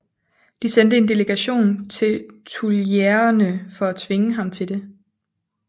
De sendte en delegation til Tuilerierne for at tvinge ham til det